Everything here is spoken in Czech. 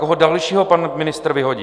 Koho dalšího pan ministr vyhodí?